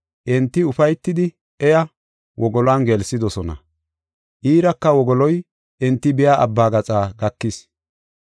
Enti ufaytidi iya wogoluwan gelsidosona; iiraka wogoloy enti biya abba gaxa gakis.